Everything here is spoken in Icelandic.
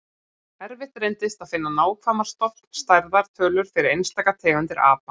Erfitt reyndist að finna nákvæmar stofnstærðar tölur fyrir einstaka tegundir apa.